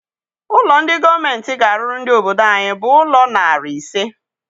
Ụlọ ndị gọọmenti ga-arụrụ ndị obodo anyị bụ ụlọ narị ise.